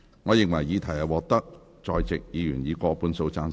我認為議題獲得在席議員以過半數贊成。